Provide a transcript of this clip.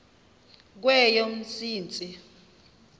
kweyomsintsi